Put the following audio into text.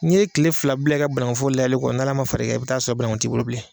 N'i ye tile fila bila i ka bannkun foro lajɛli kɔ n'ala ma far'i kan, i bɛ taa sɔrɔ bba ankun tɛ i bolo bilen.